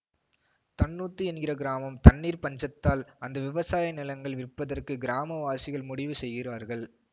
தன்னூத்து என்கிற கிராமம் தண்ணீர் பஞ்சத்தால் அந்த விவசாய நிலங்கள் விற்பதற்கு கிராம வாசிகள் முடிவு செய்கிறார்கள்